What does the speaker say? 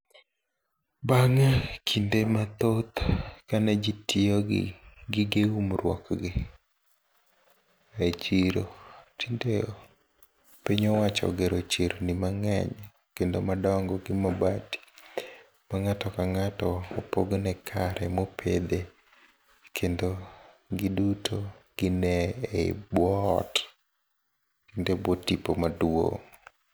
Bang'e kinde mathoth ka ne jii tiyo gi gige umruokgi e chiro. Tinde piny owacho ogero cherni mang'eny kendo madongo gi mabati mang'ato kang'ato opogne kare mopedhe kendo giduto gine ei bwo ot kendo e bwo tipo maduong'.